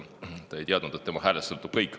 Ta ei teadnud, et tema häälest sõltub kõik.